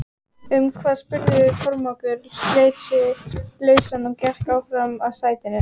Um hvað spurði Kormákur, sleit sig lausann og gekk áfram að sætinu sínu.